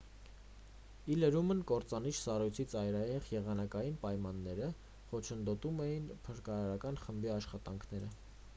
ի լրումն կործանիչ սառույցի ծայրահեղ եղանակային պայմանները խոչընդոտում էին փրկարարական խմբի աշխատանքները